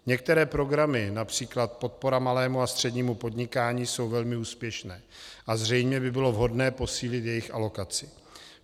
Některé programy, například podpora malému a střednímu podnikání, jsou velmi úspěšné a zřejmě by bylo vhodné posílit jejich alokaci.